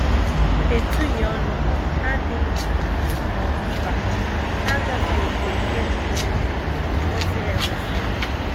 Ha etughị ọnụ, ha adịghị nganga, ma ọ bụ mpako, ha agafeghịkwa ókè kwesịrị ekwesị.